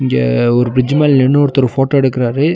இங்க ஒரு பிரிட்ஜ் மேல நின்னு ஒருத்தர் ஃபோட்டோ எடுக்கறாரு.